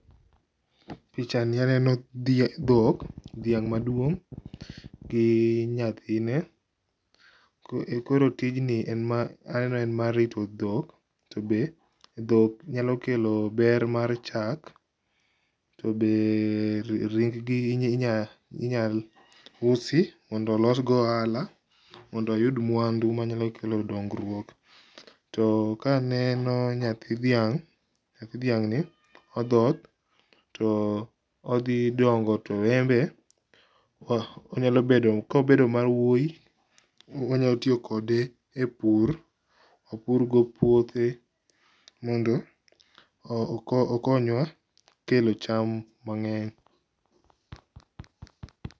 Pichani aneno dhok, dhiang maduong gi nyathine. Koro tijni aneno en mar rito dhok, to be dhok nyalo kelo ber mar chak tobe ring gi inyal usi mondo olos go ohala mondo oyud mwandu manyalo kelo dongruok. To ka aneno nyathi dhiang ni odhoth, to odhi dongo to en be odhi bedo, kobedo mawuoy wanya tiyo kode e pur, opurgo puothe mondo okonywa kelo cham mangeny